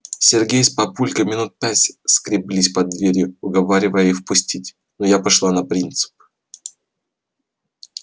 сергей с папулькой минут пять скреблись под дверью уговаривая их пустить но я пошла на принцип